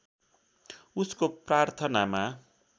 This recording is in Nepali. उसको प्रार्थनामा